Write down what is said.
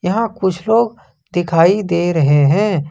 यहां कुछ लोग दिखाई दे रहे हैं।